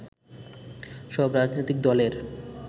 সব রাজনৈতিক দলের